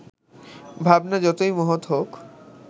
ভাবনা যতই মহৎ হোক